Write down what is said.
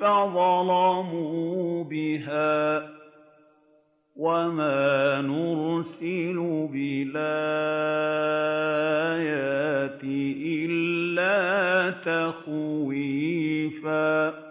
فَظَلَمُوا بِهَا ۚ وَمَا نُرْسِلُ بِالْآيَاتِ إِلَّا تَخْوِيفًا